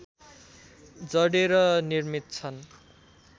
जडेर निर्मित छन्